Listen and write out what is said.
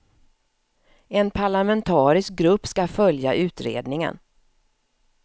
En parlamentarisk grupp ska följa utredningen.